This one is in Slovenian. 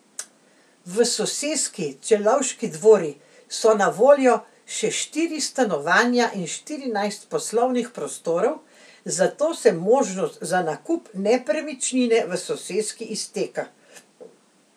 V soseski Celovški dvori so na voljo še štiri stanovanja in štirinajst poslovnih prostorov, zato se možnost za nakup nepremičnine v soseski izteka.